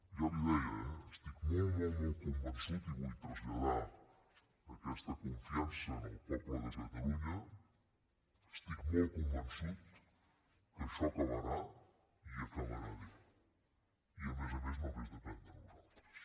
ja li ho deia eh estic molt molt molt convençut i vull traslladar aquesta confiança al poble de catalunya que això acabarà i acabarà bé i a més a més només depèn de nosaltres